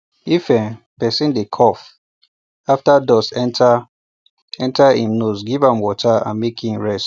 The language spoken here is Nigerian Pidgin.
if um person dey cough after dust enter enter him nose give water and make e rest